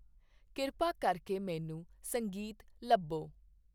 ਕਿਰਪਾ ਕਰਕੇ ਮੈਨੂੰ ਸੰਗੀਤ ਲੱਭੋ